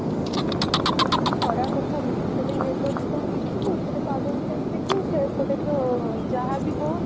ଖରା କଥା ନୁହେ ଏପଟେ weather କଣ ଦେଖିବୁ ଏପଟେ ପାଗକୁ କଣ ଦେଖିବୁ ସେପଟେ ତ ଯାହା ବି ହୋଉ